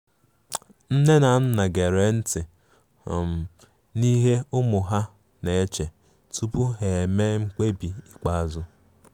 Nne na nna gere nti um n'ihe ụmụ ha na-eche tupu ha emee mkpebi ikpeazụ.